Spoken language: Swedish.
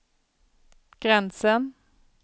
gränsen